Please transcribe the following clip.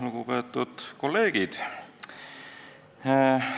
Lugupeetud kolleegid!